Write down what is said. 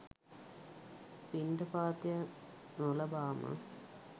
පිණ්ඩපාතය නොලබාම